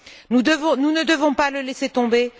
Nous ne devons pas le laisser tomber.